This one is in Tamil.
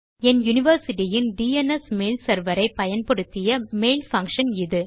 என் யூனிவர்சிட்டி இன் டிஎன்எஸ் மெயில் செர்வர் ஐ பயன்படுத்திய மெயில் பங்ஷன் இது